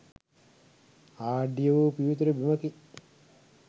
ආඩ්‍ය වූ පිවිතුරු බිමකි.